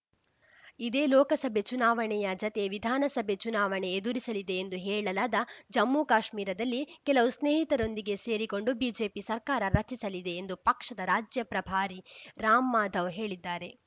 ಇದೇ ಲೋಕಸಭೆ ಚುನಾವಣೆಯ ಜತೆ ವಿಧಾನಸಭೆ ಚುನಾವಣೆ ಎದುರಿಸಲಿದೆ ಎಂದು ಹೇಳಲಾದ ಜಮ್ಮುಕಾಶ್ಮೀರದಲ್ಲಿ ಕೆಲವು ಸ್ನೇಹಿತರೊಂದಿಗೆ ಸೇರಿಕೊಂಡು ಬಿಜೆಪಿ ಸರ್ಕಾರ ರಚಿಸಲಿದೆ ಎಂದು ಪಕ್ಷದ ರಾಜ್ಯ ಪ್ರಭಾರಿ ರಾಮ್‌ ಮಾಧವ್‌ ಹೇಳಿದ್ದಾರೆ